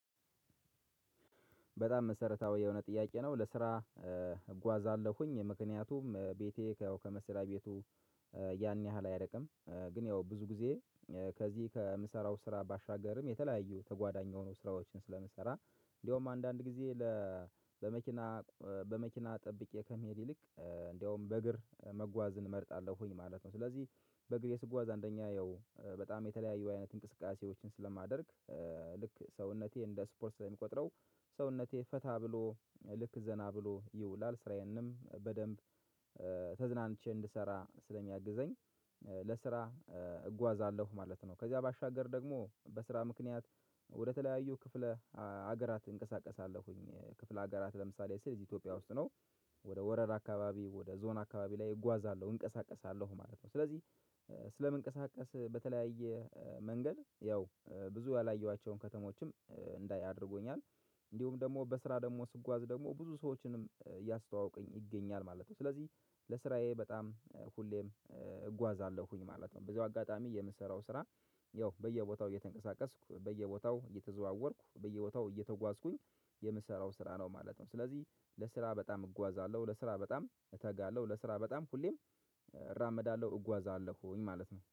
በጣም መሰረታዊ የሆነ ጥያቄ ነው። ለስራ እጓዛለሁኝ ምክንያቱም ቤቴ ከመስርያ ቤቱ ያን ያህል አይርቅም። ግን ያው ብዙ ጊዜ ከዚህ ከምሰራው ስራ ባሻገርም የተለያዩ ተጓዳኝ የሆኑ ስራዎችን ስለምሰራ እንደውም አንዳንድ ጊዜ ለ በመኪና በመኪና ጠብቄ ከመሄድ ይልቅ እንደውም በእግር መጓዝን እመርጣለሁኝ ማለት ነው ስለዚህ በእግር የስጓዝ አንደኛ ያው በጣም የተለያየ አይነት እንቅስቃሴዎችን ስለማደርግ ልክ ሰውነቴ እንደ ስፖርት ስለሚቆጥረው ሰውነቴ ፈታ ብሎ ልክ ዘና ብሎ ይውላል ስራዬንም በደንብ ተዝናንቼ እንድሰራ ስለሚያግዘኝ ለስራ እጓዛለሁ ማለት ነው። ከዚያ ባሻገር ደግሞ በስራ ምክንያት ወደተለያዩ ክፍለ ሀገራት እንቀሳቀሳለሁኝ ክፍለ ሀገራት ለምሳሌ ስል ኢትዮጵያ ውስጥ ነው ወደ ወረዳ አካባቢ ወደ ዞን አካባቢ ላይ እጓዛለሁ እንቀሳቀሳለሁ ማለት ነው። ስለዚህ ስለምንቀሳቀስ በተለያየ መንገድ ያው ብዙ ያላየኋቸውን ከተሞችም እንዳይ አድርጎኛል እንዲሁም ደግሞ በስራ ደግሞ ስጓዝ ደግሞ ብዙ ሰዎችንም እያስተዋወቀኝ ይገኛል ማለት ነው። ስለዚህ ለስራዬ በጣም ሁሌም እጓዛለሁኝ ማለት ነው። በዚሁ አጋጣሚ የምሰራው ስራ ያው በየቦታው እየተንቀሳቀስኩ በየቦታው እየተዘዋወርኩ በየቦታው እየተጓዝኩኝ የምሰራው ስራ ነው ማለት ነው። ስለዚህ ለስራ በጣም እጓዛለሁ ለስራ በጣም እተጋለሁ ለስራ በጣም ሁሌም እራመዳለሁ እጓዛለሁኝ ማለት ነው